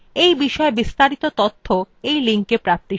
এই বিষয় বিস্তারিত তথ্য এই লিঙ্কএ প্রাপ্তিসাধ্য